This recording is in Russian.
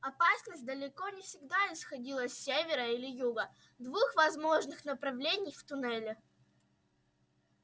опасность далеко не всегда исходила с севера или юга двух возможных направлений в туннеле